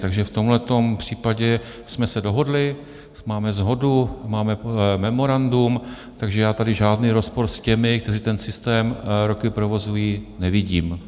Takže v tomto případě jsme se dohodli, máme shodu, máme memorandum, takže já tady žádný rozpor s těmi, kteří ten systém roky provozují, nevidím.